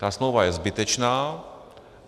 Ta smlouva je zbytečná.